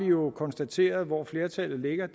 jo konstateret hvor flertallet ligger